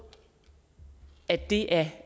at det er